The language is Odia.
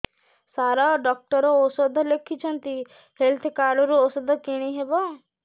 ସାର ଡକ୍ଟର ଔଷଧ ଲେଖିଛନ୍ତି ହେଲ୍ଥ କାର୍ଡ ରୁ ଔଷଧ କିଣି ହେବ